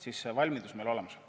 See valmidus peab meil olemas olema.